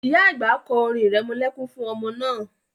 Ìyá àgbà kọ́ orin irẹmọlẹ́kún fún ọmọ náà